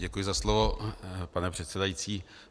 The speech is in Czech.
Děkuji za slovo, pane předsedající.